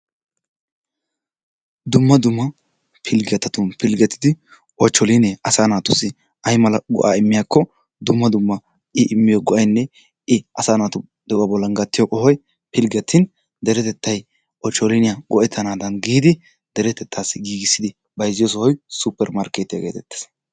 Dumma dumma pilggettatun piggettidi ochcholinne asaa naatussi aymala go''a immiyaakko dumma dumma i immiyo go''aynne i asaa naatu bollan gattiyo qohoy pilggetin deretettay ochhcholiniya go''etanadan giidi deretettassi giigissidi bayzziyo sohoy suppermarkettiya getettees.